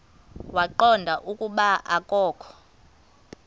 waqonda ukuba akokho